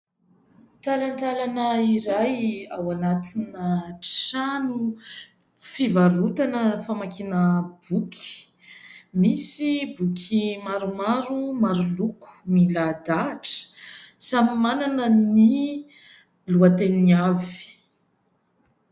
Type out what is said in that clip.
Talantalana iray ao anatina trano fivarotana, famakiana boky. Misy boky maromaro maro loko milahadahatra samy manana ny lohateniny avy.